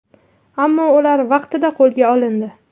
Ammo ular vaqtida qo‘lga olindi.